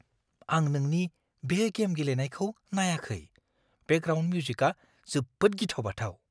आं नोंनि बे गेम गेलेनायखौ नायाखै। बेकग्राउन्ड मिउजिका जोबोद गिथाव बाथाव!